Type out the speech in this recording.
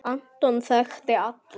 Anton þekkti alla.